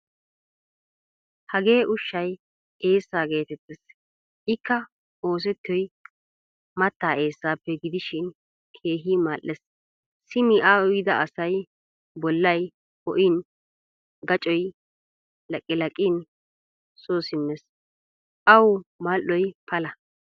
Hagee ushshay eessa geetetees. Ikka oosettiyoy matta eessappe gidishin keehin mal"ees. Simi a uyida asay bollay ho"in, gaccoy laqilaqin soo simmees. Awu mal"oy pala.